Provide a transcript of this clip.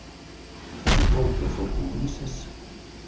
Þessi kvóti fór til Vísis.